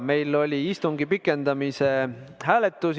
Meil oli istungi pikendamise hääletus.